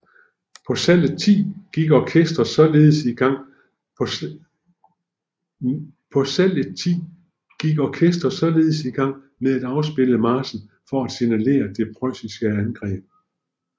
På salget ti gik orkesteret således i gang med at afspille marchen for at signalere det preussiske angreb